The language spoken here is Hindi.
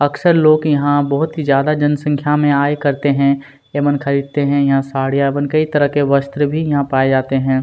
अक्सर लोग यहाँ बहोत ही ज्यादा जनसंख्या में आए करते हैं एमन खरीदते हैं यहाँ साड़ियां एवं कई तरह के वस्त्र भी यहाँ पाए जाते हैं।